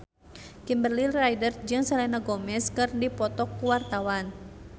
Kimberly Ryder jeung Selena Gomez keur dipoto ku wartawan